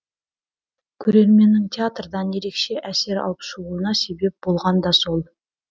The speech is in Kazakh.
көрерменннің театрдан ерекше әсер алып шығуына себеп болған да сол